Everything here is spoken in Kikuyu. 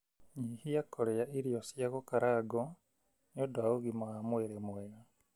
Nyihia kũrĩa irio cia gũkarangwo nĩ ũndũ wa ũgima wa mwĩrĩ mwega.